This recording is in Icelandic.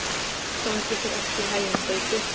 Gangi þér allt í haginn, Gauti.